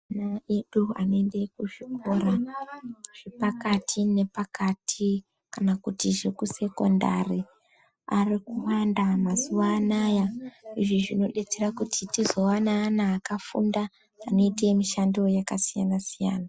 Ana edu anoende kuzvikora zvepakati nepakati kana kuti zvekusekondari ari kuwanda mazuva anaya. Izvi zvinobetsera kuti tizova neana akafunda anoite mishando yakasiyana siyana.